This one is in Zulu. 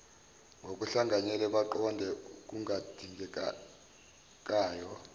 ngokuhlanganyele baqoqe okungadingekayo